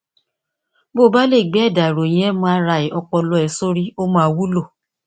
bí o bá lè gbé ẹdà ìròyìn mri ọpọlọ rẹ sórí ó máa wúlò